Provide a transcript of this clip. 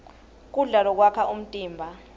kudla lokwakha umtimba